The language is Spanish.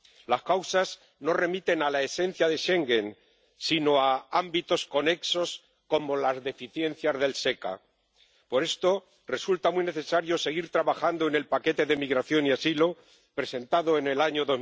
Las causas no remiten a la esencia de Schengen, sino a ámbitos conexos, como las deficiencias del SECA. Por esto, resulta muy necesario seguir trabajando en el paquete de migración y asilo presentado en el año